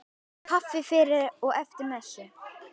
Kaffi fyrir og eftir messu.